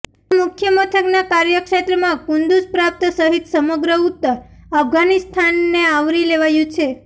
આ મુખ્યમથકના કાર્યક્ષેત્રમાં કુંદુજ પ્રાંત સહિત સમગ્ર ઉત્તર અફઘાનિસ્તાનને આવરી લેવાયું છે